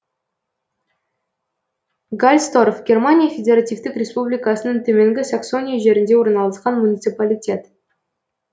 гарльсторф германия федеративтік республикасының төменгі саксония жерінде орналасқан муниципалитет